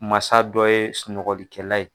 Mansa dɔ ye sunɔgɔlikɛla ye.